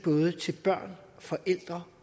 til både børn forældre